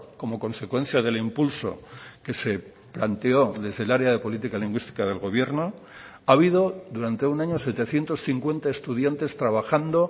como consecuencia del impulso que se planteó desde el área de política lingüística del gobierno ha habido durante un año setecientos cincuenta estudiantes trabajando